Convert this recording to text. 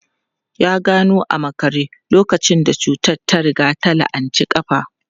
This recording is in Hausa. Ya gano a makare lokacin da cutar ta riga ta la'anci kafa.